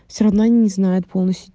все равно они не знает полностью